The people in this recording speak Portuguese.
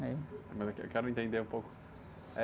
Mas é que, eu quero entender um pouco.